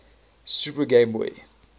super game boy